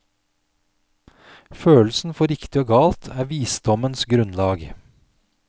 Følelsen for riktig og galt er visdommens grunnlag.